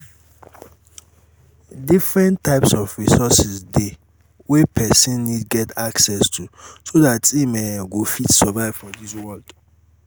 different types of resources de wey persin need get access to so that im um go fit survive for this world